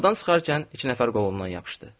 Qapıdan çıxarkən iki nəfər qolundan yapışdı.